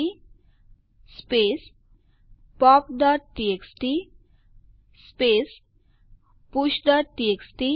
હવે ચાલો આ ઉપર કામ કરીએ